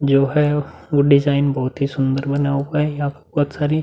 जो है वो डिज़ाइन बहोत ही सुंदर बना हुवा है। यहाँ पर बहोत सारी --